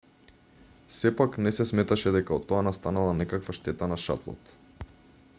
сепак не се сметаше дека од тоа настанала некаква штета на шатлот